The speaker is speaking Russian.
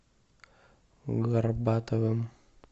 горбатовым